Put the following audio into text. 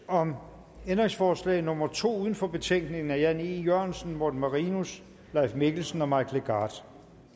om ændringsforslag nummer to uden for betænkningen af jan e jørgensen morten marinus leif mikkelsen og mike legarth